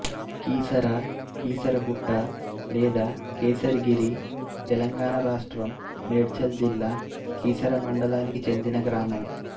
కీసర కీసరగుట్ట లేదా కేసరిగిరి తెలంగాణ రాష్ట్రం మేడ్చల్ జిల్లా కీసర మండలానికి చెందిన గ్రామం